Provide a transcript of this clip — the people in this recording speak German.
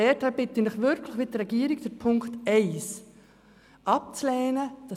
Daher bitte ich Sie wirklich, den Punkt 1 abzulehnen, wie die Regierung.